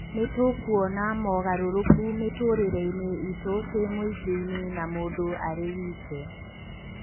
Nĩ tũkuona mogarũrũku mĩtũrĩre-inĩ itũ twĩ mũingĩ-inĩ na mũndũ arĩ wĩke.